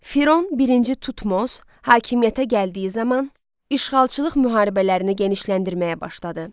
Firon birinci Tutmos hakimiyyətə gəldiyi zaman işğalçılıq müharibələrini genişləndirməyə başladı.